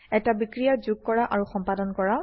এটা বিক্ৰিয়া যোগ আৰু সম্পাদন কৰা